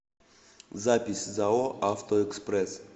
запись зао автоэкспресс